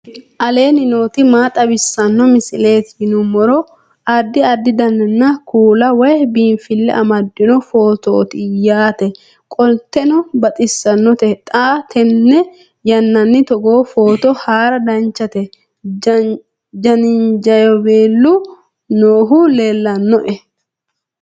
aleenni nooti maa xawisanno misileeti yinummoro addi addi dananna kuula woy biinfille amaddino footooti yaate qoltenno baxissannote xa tenne yannanni togoo footo haara danchate jaanjiweelu noohu leellannoe